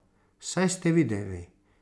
Saj ste videli.